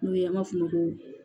N'o ye an b'a f'ulu ma ko